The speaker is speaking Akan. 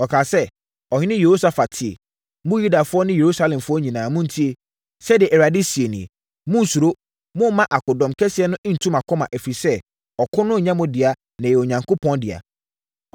Ɔkaa sɛ, “Ɔhene Yehosafat, tie! Mo Yudafoɔ ne Yerusalemfoɔ nyinaa, montie! Sɛdeɛ Awurade seɛ nie: Monnsuro. Mommma akodɔm kɛseɛ nntu mo akoma, ɛfiri sɛ, ɔko no nnyɛ mo dea, na ɛyɛ Onyankopɔn dea.